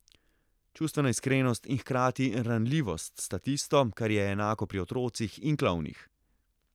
Čustvena iskrenost in hkrati ranljivost sta tisto, kar je enako pri otrocih in klovnih.